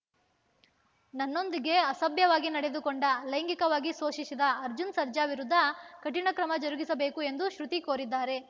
ನನ್ನೊಂದಿಗೆ ಅಸಭ್ಯವಾಗಿ ನಡೆದುಕೊಂಡ ಲೈಂಗಿಕವಾಗಿ ಶೋಷಿಸಿದ ಅರ್ಜುನ್‌ ಸರ್ಜಾ ವಿರುದ್ಧ ಕಠಿಣ ಕ್ರಮ ಜರುಗಿಸಬೇಕು ಎಂದು ಶ್ರುತಿ ಕೋರಿದ್ದಾರೆ